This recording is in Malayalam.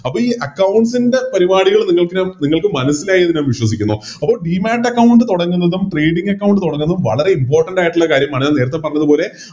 അപ്പൊ ഈ Accounts ൻറെ പരിപാടികള് നിങ്ങൾക്ക് നിങ്ങൾക്ക് മനസ്സിലായി എന്ന് ഞാൻ വിശ്വസിക്കുന്നു അപ്പൊ Demat account തൊടങ്ങുന്നതും Trading account തൊടങ്ങുന്നതും വളരെ Important ആയിട്ടുള്ള കാര്യമാണ് നേരത്തെ പറഞ്ഞത് പോലെ